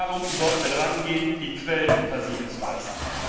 Darum sollten wir darangehen, die Quellen versiegen zu lassen.